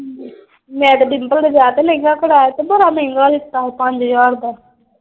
ਮੈਂ ਤੇ ਡਿਮਪਲ ਦੇ ਵਿਆਹ ਤੇ ਲਹਿੰਗਾ ਕਰਾਇਆ ਤੇ ਬੜਾ ਮਹਿੰਗਾ ਦਿੱਤਾ ਉਹ ਪੰਜ ਹਜਾਰ ਦਾ।